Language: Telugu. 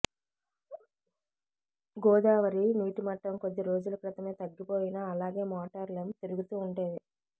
గోదావరి నీటిమట్టం కొద్ది రోజుల క్రితమే తగ్గిపోయినా అలాగే మోటార్లు తిరుగుతూ ఉండేవి